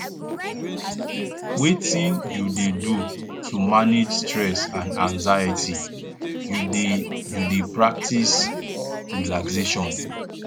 wetin you dey do to manage stress and anxiety you dey you dey practice relaxation